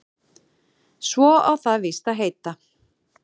Svo á það víst að heita